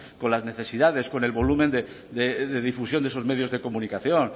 con las necesidades con el volumen de difusión de esos medios de comunicación